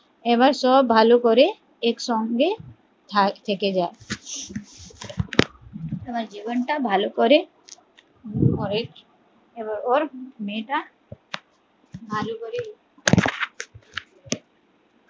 এবার সব ভালো করে একসঙ্গে থা থেকে যা আবার জীবন টা ভালো করে ওর মেয়ে টা